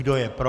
Kdo je pro?